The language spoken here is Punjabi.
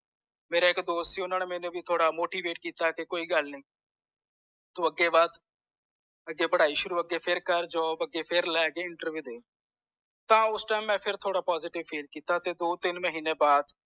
ਮੇਰਾ ਇਕ ਦੋਸਤ ਸੀ ਓਹਨਾ ਨੇ ਮੇਰੇ ਜੋਗੀ ਥੋੜਾ motivate ਕੀਤਾ ਕਿ ਕੋਈ ਗੁਲ ਨੀਤੂ ਅੱਗੇ ਵੱਧ ਅੱਗੇ ਪੜ੍ਹਾਈ ਸ਼ੁਰੂ ਅੱਗੇ ਫੇਰ ਕਰ ਜੋਬ ਅੱਗੇ ਫੇਰ ਲੈਕੇ ਅੱਗੇ Interview ਟੀਮ ਮਈ ਫੇਰ ਥੋੜਾ ਮੈਂ positive feel ਕੀਤਾ ਤੇ ਦੋ ਤਿਨ ਮਹੀਨੇ ਵਾਦ